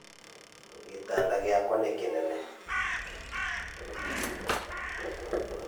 Gĩtanda gĩakwa nĩ kĩnene.